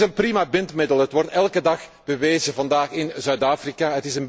Het is een prima bindmiddel. Het wordt elke dag bewezen vandaag in Zuid Afrika.